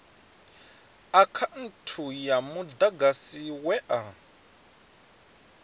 akhaunthu ya mudagasi we a